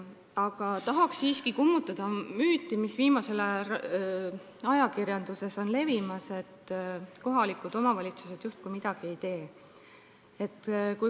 Aga tahaks siiski kummutada müüti, mis viimasel ajal on ajakirjanduses levimas, just nagu kohalikud omavalitsused midagi ei teeks.